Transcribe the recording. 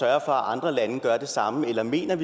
at andre lande ikke gør det samme eller mener